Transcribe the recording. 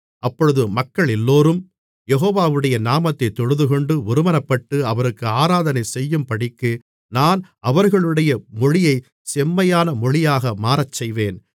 அப்பொழுது மக்களெல்லோரும் யெகோவாவுடைய நாமத்தைத் தொழுதுகொண்டு ஒருமனப்பட்டு அவருக்கு ஆராதனை செய்யும்படிக்கு நான் அவர்களுடைய மொழியை செம்மையான மொழியாக மாறச்செய்வேன்